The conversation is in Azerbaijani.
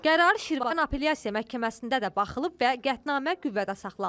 Qərar Şirvan Apellyasiya Məhkəməsində də baxılıb və qətnamə qüvvədə saxlanılıb.